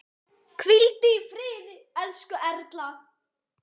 Hvíldu í friði, elsku Erla.